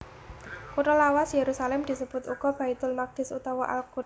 Kutha lawas Yerusalem disebut uga Baitul Maqdis utawa Al Quds